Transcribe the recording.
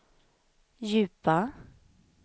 djupa